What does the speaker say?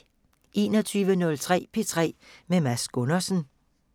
21:03: P3 med Mads Gundersen